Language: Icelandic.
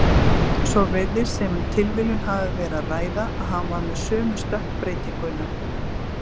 Svo virðist sem um tilviljun hafi verið að ræða að hann var með sömu stökkbreytinguna.